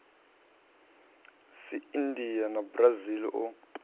sa india na brazil o